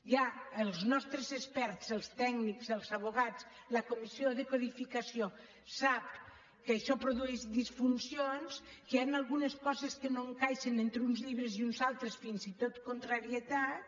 ja els nostres experts els tècnics els advocats la comissió de codificació saben que això produeix disfuncions que hi han algunes coses que no encaixen entre uns llibres i uns altres fins i tot contrarietats